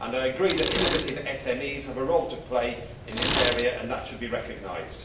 I agree that innovative SMEs have a role to play in this area and that should be recognised.